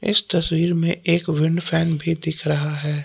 इस तस्वीर में एक विंड फैन भी दिख रहा है।